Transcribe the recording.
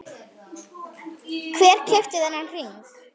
Hver keypti þennan hring?